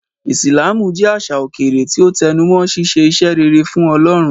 Islamú jẹ̀ àṣà okẹ̀rẹ̀ tí o tẹnumọ̀ síṣẹ̀ ìṣẹ́ rẹ̀rẹ̀ fún Ọlọ́run.